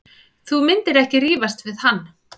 Þú myndir ekki rífast við hann.